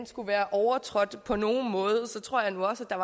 skulle være overtrådt på nogen måde så tror jeg nu også at der